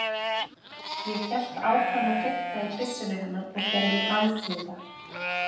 Ég hélt áfram að fikta í byssunni hennar og gerði alþjóða